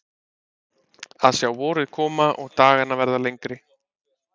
Að sjá vorið koma og dagana verða lengri.